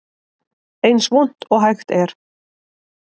Eins vont og hægt er